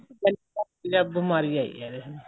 ਬੀਮਾਰੀ ਆਈ ਹੈ ਇਹ